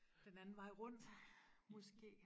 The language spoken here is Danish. Den anden vej rundt måske